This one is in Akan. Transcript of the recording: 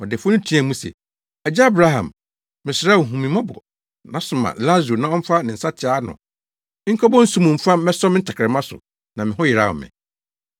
Ɔdefo no teɛɛ mu se, ‘Agya Abraham, mesrɛ wo hu me mmɔbɔ na soma Lasaro na ɔmfa ne nsateaa ano nkɔbɔ nsu mu mfa mmɛsɔ me tɛkrɛma so na me ho yeraw me.’